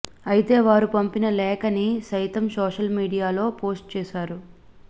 అయితే వారు పంపిన లేఖని సైతం సోషల్ మీడియా లో పోస్ట్ చేశారు